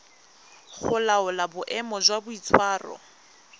go laola boemo jwa boitshwaro